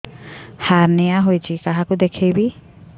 hernia ହୋଇଛି କାହାକୁ ଦେଖେଇବି